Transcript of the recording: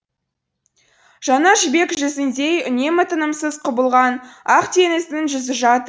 жаңа жібек жүзіндей үнемі тынымсыз құбылған ақ теңіздің жүзі жат